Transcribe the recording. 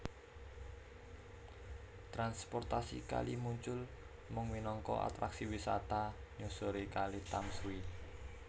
Transportasi kali muncul mung minangka atraksi wisata nyusuri Kali Tamsui